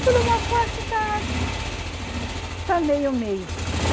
Por uma parte tá... Tá meio, meio.